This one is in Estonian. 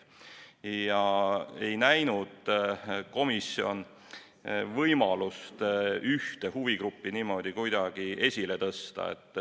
Komisjon ei näinud võimalust ühte huvigruppi niimoodi esile tõsta.